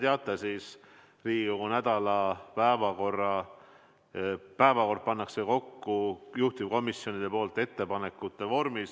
Nagu te teate, Riigikogu nädala päevakord pannakse kokku juhtivkomisjonide ettepanekutest lähtudes.